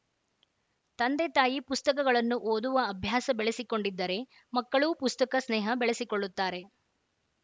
ತಂದೆ ತಾಯಿ ಪುಸ್ತಕಗಳನ್ನು ಓದುವ ಅಭ್ಯಾಸ ಬೆಳೆಸಿಕೊಂಡಿದ್ದರೆ ಮಕ್ಕಳೂ ಪುಸ್ತಕ ಸ್ನೇಹ ಬೆಳೆಸಿಕೊಳ್ಳುತ್ತಾರೆ